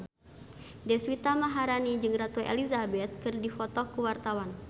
Deswita Maharani jeung Ratu Elizabeth keur dipoto ku wartawan